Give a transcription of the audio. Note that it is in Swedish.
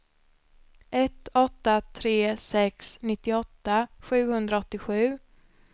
ett åtta tre sex nittioåtta sjuhundraåttiosju